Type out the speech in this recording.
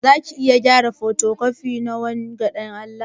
Zaka iya kara fotocopi na wanga dan Allah?